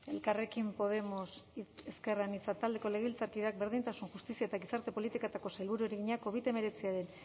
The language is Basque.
elkarrekin podemos ezker anitza taldeko legebiltzarkideak berdintasun justizia eta gizarte politiketako sailburuari egina covid hemeretziaren